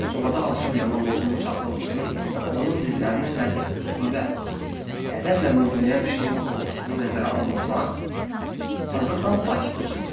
Sobada alışıyıb yanan odun çatıldısını və onun dizlərinin üstündə ləzzətlə mürgüləyən pişiyin xorulultusunu nəzərə almasaq, otaqda tam sakitlik idi.